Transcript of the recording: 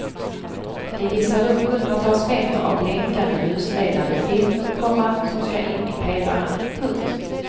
De hissar upp hundratals meter av blänkande ljusledande film, komma som ska in i pelaren. punkt